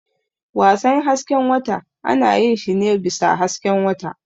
Wasan hasken wata ana yin shi ne bisa hasken wata.